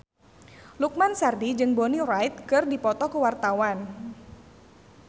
Lukman Sardi jeung Bonnie Wright keur dipoto ku wartawan